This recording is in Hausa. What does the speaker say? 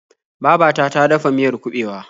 Baba ta ta dafa miyar kuɓewa.